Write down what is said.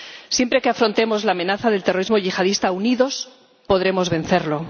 Siempre que afrontemos la amenaza del terrorismo yihadista unidos, podremos vencerlo.